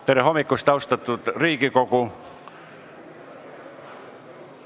Tere hommikust, austatud Riigikogu!